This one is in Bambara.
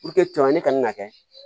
ne kana na kɛ